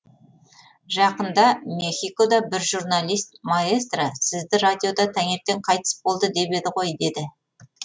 жақында мехикода бір журналист маэстро сізді радиода таңертең қайтыс болды деп еді ғой деді